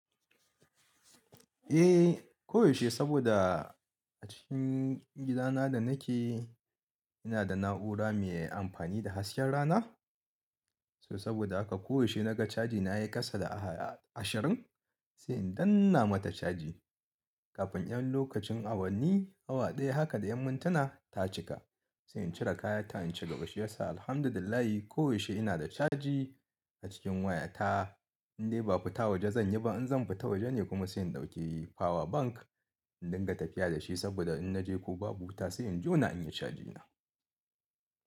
Eh, ko yaushe saboda a cikin gidana da nake inada na'ura mai amfani da hasken rana. So saboda haka ko yaushe naga caji na yayi kasa da ashirin, sai in danna mata caji kafin ƴan lokacin awanni awa ɗaya haka da ƴan muntuna ta cika. Sai in cire kayata in cigaba shiyasa alhamdulillah ko yaushe inada caji a cikin wayata. Inde ba fita waje zanyi ba, in zan fita waje ne kuma zan dauki power bank in dinga tafiya dashi saboda in naje ko babu wuta sai in jona inyi cajina.